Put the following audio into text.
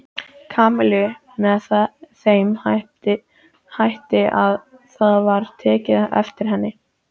Kamillu með þeim hætti að það var tekið eftir henni.